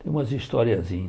Tem umas historiezinhas.